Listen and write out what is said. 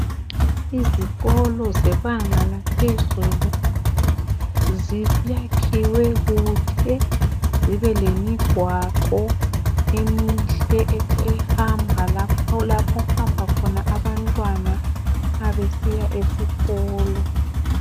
Izikolo zebanga laphezulu ,ziyakhiwe kuhle .Zibe lemigwaqo emihle , ehamba lapho okuhamba khona abantwana ma besiya esikolo.